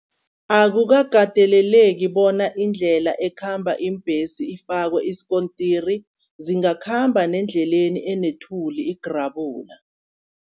Akukakateleleki bona indlela ekhamba iimbhesi ifakwe isikontiri, zingakhamba nendleleni enethuli igrabula.